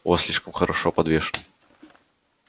у вас слишком хорошо подвешен